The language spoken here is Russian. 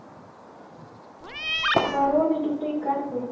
вороны тупые каркают